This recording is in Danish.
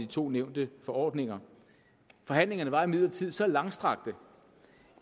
to nævnte forordninger forhandlingerne var imidlertid så langstrakte